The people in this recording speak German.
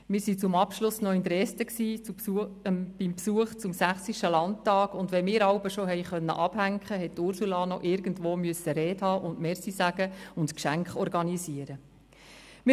Wir waren zum Abschluss noch in Dresden, zu Besuch beim 60. Landtag, und wenn wir uns jeweils schon entspannen konnten, hat Ursula Zybach noch irgendwo eine Rede halten, Danke sagen und Geschenke organisieren müssen.